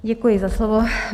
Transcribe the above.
Děkuji za slovo.